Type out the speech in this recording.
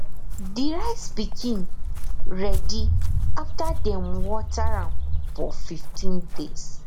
de rice pikin ready after dem water am for fifteen days